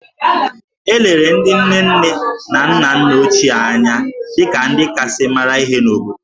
E lere ndị nne nne na nna nna ochie anya dị ka ndị kasị mara ihe n’obodo